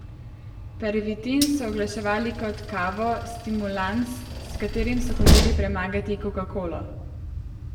Pervitin so oglaševali kot kavo, stimulans, s katerim so hoteli premagati kokakolo.